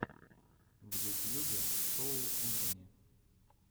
в ютьюбе шоу энтони